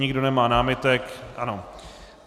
Nikdo nemá námitek, ano.